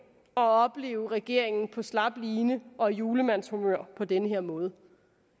at opleve regeringen på slap line og i julemandshumør på den her måde